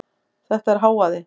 Þetta er hávaði.